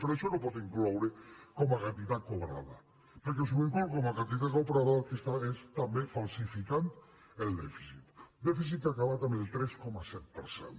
però això no ho pot incloure com a quantitat cobrada perquè si ho inclou com a quantitat cobrada el que està és també falsificant el dèficit un dèficit que ha acabat en el tres coma set per cent